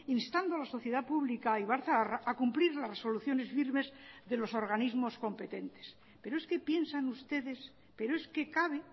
instando a la sociedad pública ibarzaharra a cumplir las resoluciones firmes de los organismos competentes pero es que piensan ustedes pero es que cabe